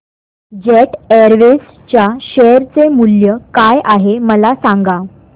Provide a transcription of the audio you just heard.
jet airways च्या share चे मूल्य काय आहे मला सांगा